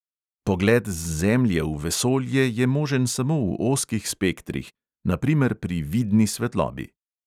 Pogled z zemlje v vesolje je možen samo v ozkih spektrih, na primer pri vidni svetlobi.